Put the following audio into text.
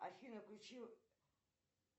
афина включи